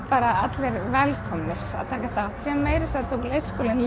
bara allir velkomnir að taka þátt meira að segja tók leikskólinn